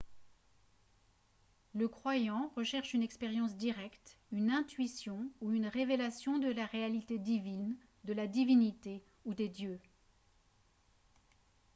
le croyant recherche une expérience directe une intuition ou une révélation de la réalité divine/de la divinité ou des dieux